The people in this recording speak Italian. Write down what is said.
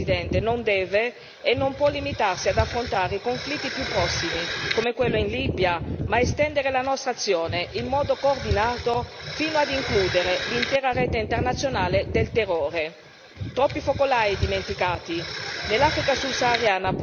Un approccio globale appunto nella lotta contro il terrorismo, signor Presidente, non deve e non può limitarsi ad affrontare i conflitti più prossimi come quello in Libia, ma deve estendere la nostra azione in modo coordinato fino ad includere l'intera rete internazionale del terrore.